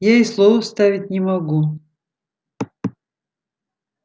я и слова вставить не могу